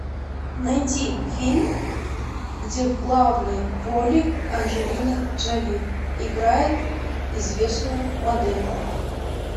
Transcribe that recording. найди фильм где в главной роли анджелина джоли играет известную модель